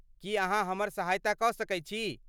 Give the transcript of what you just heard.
की अहाँ हमर सहायता कऽ सकैत छी?